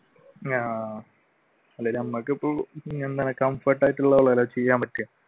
ആഹ്